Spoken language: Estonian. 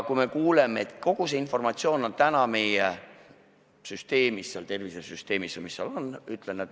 Me kuulsime, et kogu see informatsioon on meil süsteemis, seal tervisesüsteemis või mis ta oli.